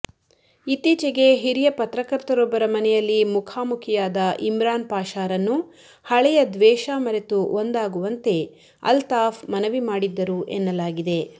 ಇತ್ತೀಚೆಗೆ ಹಿರಿಯ ಪತ್ರಕರ್ತರೊಬ್ಬರ ಮನೆಯಲ್ಲಿ ಮುಖಾಮುಖಿಯಾದ ಇಮ್ರಾನ್ ಪಾಷಾರನ್ನು ಹಳೆಯ ದ್ವೇಷ ಮರೆತು ಒಂದಾಗುವಂತೆ ಅಲ್ತಾಫ್ ಮನವಿ ಮಾಡಿದ್ದರು ಎನ್ನಲಾಗಿದೆ